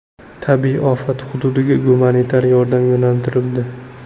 Tabiiy ofat hududiga gumanitar yordam yo‘naltirildi.